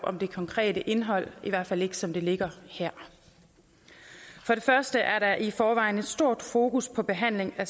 det konkrete indhold i hvert fald ikke som det ligger her for det første er der i forvejen et stort fokus på behandling af